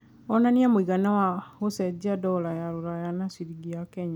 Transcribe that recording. onanĩa mũigana wa ũcejanĩa wa dola ya rũraya na cĩrĩngĩ ya Kenya